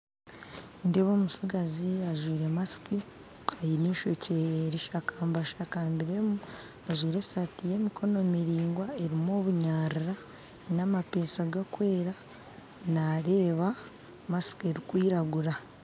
Nindeeba omutsigazi ajwire masiki ayine eishokye rishakashakambiremu ajwire esaati yemikono miringwa erimu obunyaara, namapesha gakwera naareba masiki erikwiragura